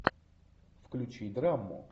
включи драму